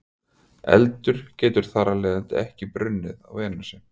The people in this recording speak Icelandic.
Eldur getur þar af leiðandi ekki brunnið á Venusi.